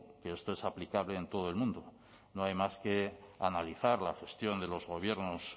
que esto es aplicable en todo el mundo no hay más que analizar la gestión de los gobiernos